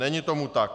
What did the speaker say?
Není tomu tak.